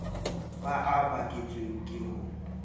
ba a baketsweng ke ho